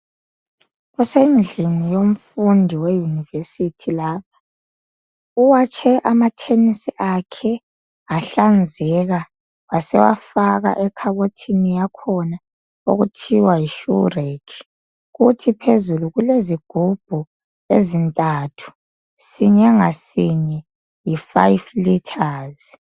Kusendlini yomfundi weuniversity lapha. Uwatshe amathenisi akhe ahlanzeka. Wasewafaka ekhabothini yakhona, okuthiwa yishoe rake. Kuthi phezulu, kulezigubhu ezintathu. Since ngadinye yi 5 litres.